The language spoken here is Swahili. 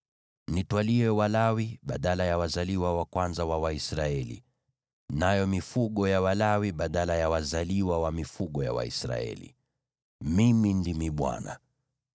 Nitwalie Walawi badala ya wazaliwa wa kwanza wa Waisraeli, nayo mifugo ya Walawi badala ya wazaliwa wa mifugo ya Waisraeli. Mimi ndimi Bwana .”